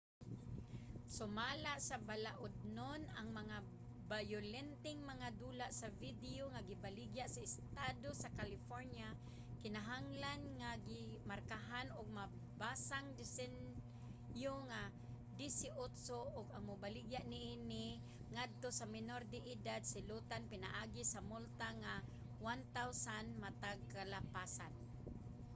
sumala sa balaodnon ang mga bayolenteng mga dula sa video nga gibaligya sa estado sa california kinahanglan nga gimarkahan og mabasang disenyo nga 18 ug ang mobaligya niini ngadto sa menor de edad silotan pinaagi sa multa nga $1000 matag kalapasan